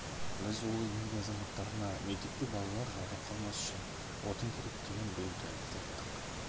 біз ол еңбек азаматтарына мектепке балалар жаурап қалмас үшін отын керек деген бұйымтайымызды айттық